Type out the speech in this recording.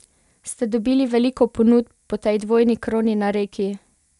Ste dobili veliko ponudb po tej dvojni kroni na Reki?